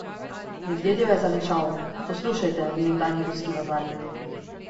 Medvedjev je zarenčal: 'Poslušajte, vi nekdanji ruski vazali.